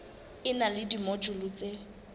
e na le dimojule tse